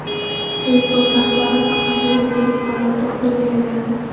Facebook rahbari faxrli yuridik fanlar doktoriga aylandi.